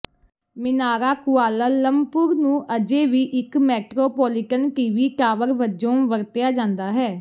Menara Kuala Lumpur ਨੂੰ ਅਜੇ ਵੀ ਇਕ ਮੈਟਰੋਪੋਲੀਟਨ ਟੀ ਵੀ ਟਾਵਰ ਵੱਜੋਂ ਵਰਤਿਆ ਜਾਂਦਾ ਹੈ